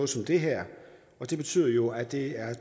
som det her det betyder jo at det